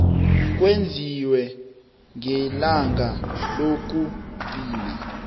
kwenziwe ngelanga lokugcina